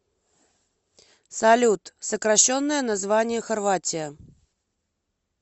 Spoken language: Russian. салют сокращенное название хорватия